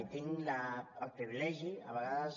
i tinc el privilegi a vegades